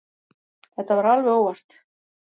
Þetta var alveg óvart.